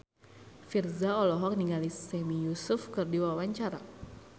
Virzha olohok ningali Sami Yusuf keur diwawancara